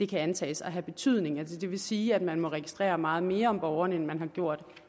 det antages at have betydning det vil sige at man må registrere meget mere om borgerne end man har gjort